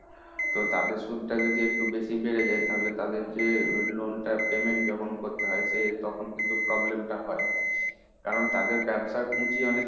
তো তাদের সুদ যদি একটু বেশি বেড়ে যায়, তাহলে তাদের যে loan টা payment যখন করতে হয় সে তখন কিন্তু problem টা হয়। কারণ তাদের ব্যবসার পুঁজি অনেক